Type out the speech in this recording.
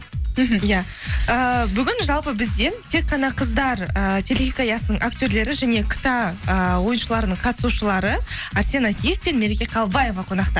мхм иә ііі бүгін жалпы бізден тек қана қыздар і телехикаясының актерлері және кта ыыы ойыншыларының қатысушылары әрсен әкиев пен мереке қалыбаева қонақта